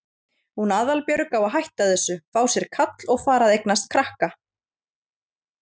Hún Aðalbjörg á að hætta þessu, fá sér kall og fara að eignast krakka.